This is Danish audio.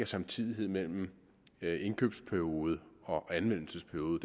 samtidighed mellem indkøbsperiode og anvendelsesperiode